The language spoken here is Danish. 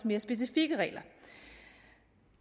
mere specifikke regler